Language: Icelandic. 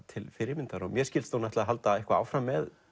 til fyrirmyndar og mér skilst að hún ætli að halda áfram með